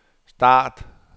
start